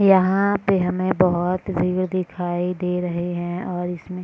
यहाँ पे हमें बहुत भीड़ दिखाई दे रहे हैं और इसमें --